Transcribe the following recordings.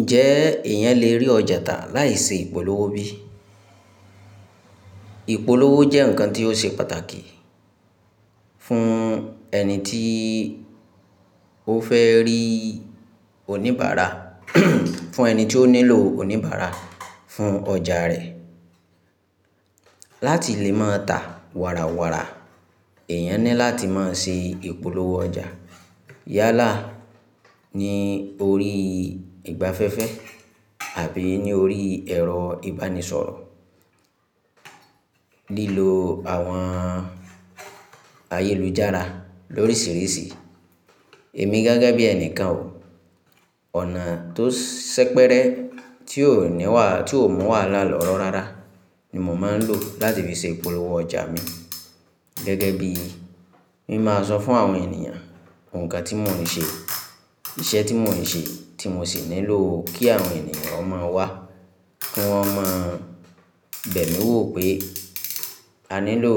Ǹjẹ́ èèyàn lè rí ọjà tà láì ṣe ìpolówó bí? Ìpolówó jẹ́ ǹkan tí ó ṣe pàtàkì fún ẹni tí ó fẹ́ rí oníbàárà, fún ẹni tí ó nílò oníbàárà fún ọjà rẹ̀. Láti lè máa tà wàrà wàrà, èèyàn ní láti máa ṣe ìpolówó ọjà. Yálà ní orí ìgbafẹ́fẹ́ àbí ní orí ẹ̀rọ ìbánisọ̀rọ̀. Lílo àwọn ayélujára lóríṣìíríṣìí. Èmi gẹ́gẹ́ bí ẹnìkan o. Ọ̀nà tó ṣẹ́pẹrẹ tí ò ní wà, tí ò mọ wàhálà lọ́rọ̀ rárá ni mò máa ń lò láti fi ṣe ìpolówó ọjà mi. Gẹ́gẹ́ bí mi máa sọ fún àwọn ènìyàn nǹkan tí mò ń ṣe, iṣẹ́ tí mò ń ṣe tí mo sì nílò kí àwọn ènìyàn ó máa wá, kí wọ́n má bẹ̀ mí wò pé a nílò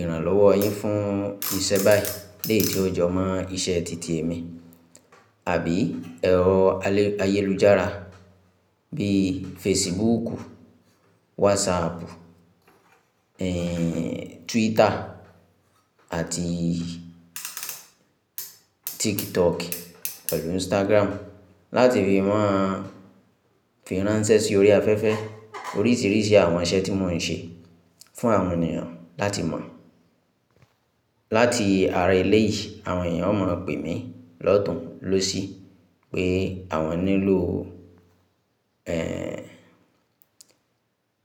ìrànlọ́wọ́ yín fún iṣẹ́ báyìí. Léyìí tí ó jọ mọ́ iṣẹ́ tìtì mi. Àbí ẹ̀rọ ayélujára bíi Fẹ́ẹ̀sìbùùkù, Wọ́ọ̀sààpù, Tuwítà àti TikTok pẹ̀lú Instagram láti fi máa fi ránṣẹ́ sí orí afẹ́fẹ́ oríṣìíríṣìí àwọn iṣẹ́ tí mò ń ṣe fún àwọn ènìyàn láti mọ̀. Láti ara ilé yìí, àwọn èèyàn ó mọ̀ pé mi lọ́tùn lósì pé àwọn nílò,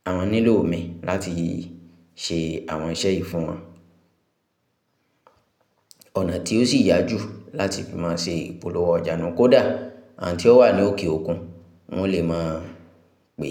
àwọn nílò mi láti ṣe àwọn iṣẹ́ yìí fún wọn. Ọ̀nà tí ó sì yá jù láti fi máa ṣe ìpolówó ọjà ni kódà àǹtí tó wà ní òkè òkun, wọ́n lè máa pè.